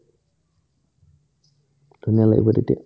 ধুনীয়া লাগিব তেতিয়া